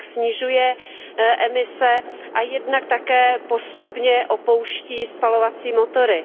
Jednak snižuje emise a jednak také postupně opouští spalovací motory.